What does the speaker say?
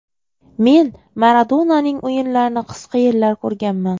Men Maradonaning o‘yinlarini qisqa yillar ko‘rganman.